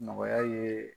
Nɔgɔya ye